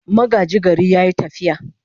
Magaji gari ya yi tafiya.